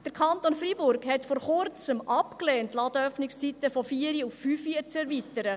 Der Kanton Freiburg hat es vor Kurzem abgelehnt, die Ladenöffnungszeiten von 16 Uhr auf 17 Uhr zu erweitern.